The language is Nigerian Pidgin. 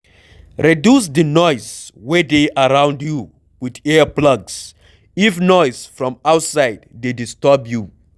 Reduce di noise wey dey around you with ear plugs if noise from outside dey disturb you